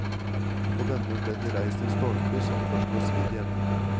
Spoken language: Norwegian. På denne ble det reist en stolpe som først var svidd i enden.